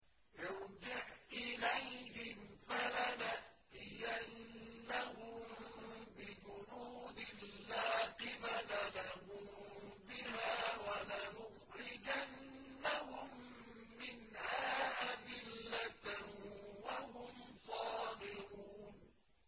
ارْجِعْ إِلَيْهِمْ فَلَنَأْتِيَنَّهُم بِجُنُودٍ لَّا قِبَلَ لَهُم بِهَا وَلَنُخْرِجَنَّهُم مِّنْهَا أَذِلَّةً وَهُمْ صَاغِرُونَ